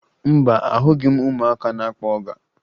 Mba, ahụghị m ụmụaka na-akpọ ọga